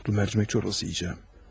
Kurtlu mərcimək çorbası yeyəcəm.